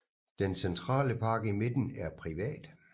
Den centrale park i midten er privat